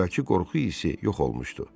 Əvvəlki qorxu hissi yox olmuşdu.